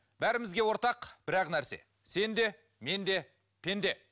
бәрімізге ортақ бір ақ нәрсе сен де мен де пенде